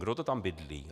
Kdo to tam bydlí?